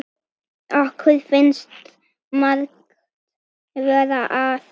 Okkur finnst margt vera að.